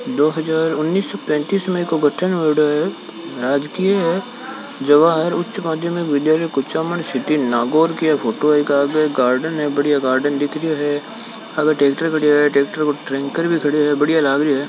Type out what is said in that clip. दो हजार उनिश पेनतीस का गठन होयेडो है जवाहर उच्च मध्यम विद्यालय कुचामन सीटी नागोर की फोटो है इक आग गार्डन है बढ़िया दिख रहा है टेंकर भी खड़ा हे बढ़िया लगया है।